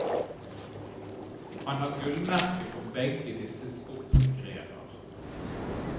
Han har gullmerke for begge disse sportsgrener.